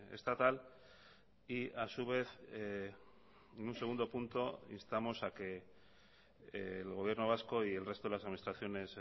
estatal y a su vez en un segundo punto instamos a que el gobierno vasco y el resto de las administraciones